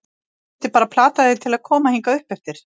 Ég þurfti bara að plata þig til að koma hingað uppeftir.